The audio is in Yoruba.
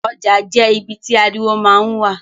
Oja je ibi ti ariwo ma n wa.